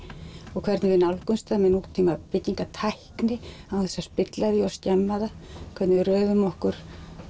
og hvernig við nálgumst það með nútíma byggingatækni án þess að spilla því eða skemma það hvernig við röðum okkur